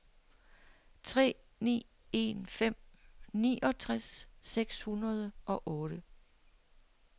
tre ni en fem niogtres seks hundrede og otte